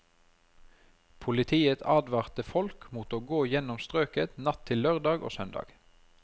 Politiet advarte folk mot å gå gjennom strøket natt til lørdag og søndag.